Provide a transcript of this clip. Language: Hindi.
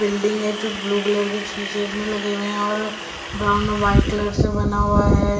बिल्डिंग है जो ब्लू कलर की चीज़े इसमें लगे हुए हैं और ब्राउन वाइट कलर से बना हुआ है।